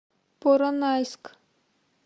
поронайск